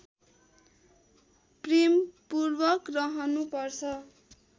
प्रेमपूर्वक रहनु पर्छ